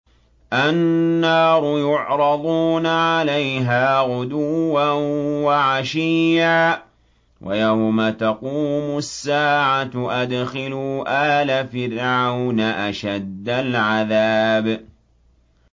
النَّارُ يُعْرَضُونَ عَلَيْهَا غُدُوًّا وَعَشِيًّا ۖ وَيَوْمَ تَقُومُ السَّاعَةُ أَدْخِلُوا آلَ فِرْعَوْنَ أَشَدَّ الْعَذَابِ